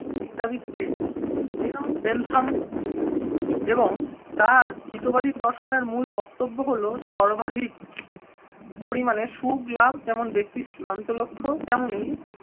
চিন্তাবিদ কে Jerome Bentham এবং তার হিতবাদী দর্শনের মূল বক্তব্য হলো সর্বাধিক পরিমাণে সুখ লাভ যেমন ব্যক্তির চূড়ান্ত লক্ষ্য। তেমনি